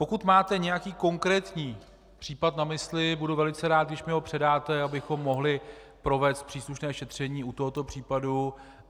Pokud máte nějaký konkrétní případ na mysli, budu velice rád, když mi ho předáte, abychom mohli provést příslušné šetření u tohoto případu.